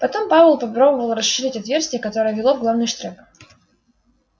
потом пауэлл попробовал расширить отверстие которое вело в главный штрек